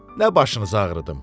Nə başınızı ağrıdım.